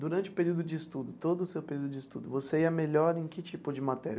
Durante o período de estudo, todo o seu período de estudo, você ia melhor em que tipo de matéria?